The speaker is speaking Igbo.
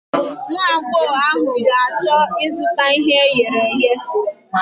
Nwagbọghọ ahụ ga-achọ ịzụta ihe e ghere eghe.